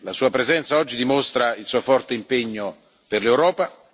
La Sua presenza oggi dimostra il Suo forte impegno per l'Europa.